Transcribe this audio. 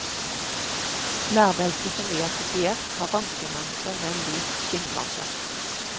Lærbeltet som vi har kopiert, har rankemønster med en lys skinnblonde.